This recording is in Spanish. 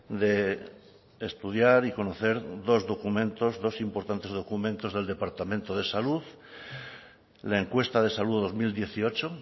de estudiar y conocer dos documentos dos importantes documentos del departamento de salud la encuesta de salud dos mil dieciocho